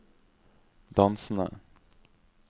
dansende